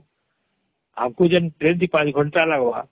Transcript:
ଆମକୁ ଯେଉଁଠି ୪ ଘଣ୍ଟା ଲାଗବା